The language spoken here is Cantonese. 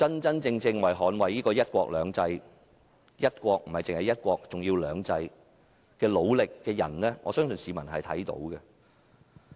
真正為捍衞"一國兩制"而努力的人，我相信市民看得出來。